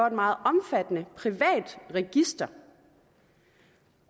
et meget omfattende privat register